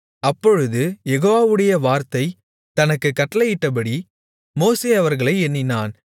அப்பொழுது யெகோவாவுடைய வார்த்தை தனக்குக் கட்டளையிட்டபடி மோசே அவர்களை எண்ணினான்